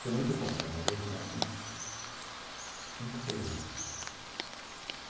Foi muito bom, trabalhei durante uns cinco, seis anos.